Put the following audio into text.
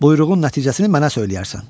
Buyruğun nəticəsini mənə söyləyərsən.